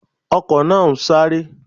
Ọkò náà ń sáré